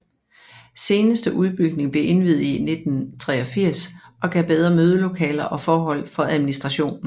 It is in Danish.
Seneste udbygning blev indviet i 1983 og gav bedre mødelokaler og forhold for administrationen